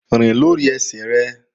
Rìn lórí ẹsẹ̀ rẹ!